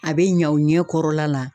A bɛ ɲɛ aw ɲɛ kɔrɔla la